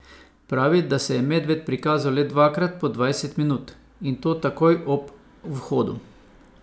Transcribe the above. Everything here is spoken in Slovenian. Pravi, da se je medved prikazal le dvakrat po dvajset minut, in to takoj ob vhodu.